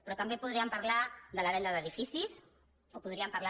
però també podríem parlar de la venda d’edificis o podríem parlar